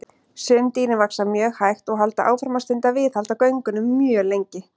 Sum dýrin vaxa mjög hægt og halda áfram að stunda viðhald á göngunum mjög lengi.